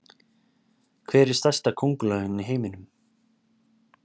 Hver er stærsta köngulóin í heiminum?